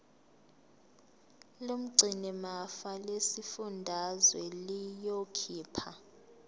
lomgcinimafa lesifundazwe liyokhipha